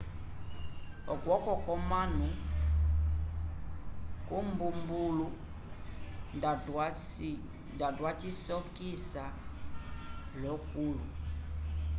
okwoko kwomanu imbumbulu nda twayisokisa l'okulu